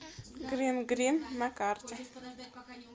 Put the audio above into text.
грин грин на карте